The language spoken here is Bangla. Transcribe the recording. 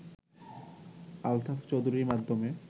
আলতাফ চৌধুরীর মাধ্যমে